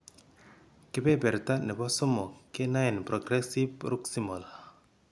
Kebeberta nebo somok kenaen progressive proximal